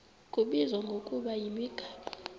kubizwa ngokuba yimigaqo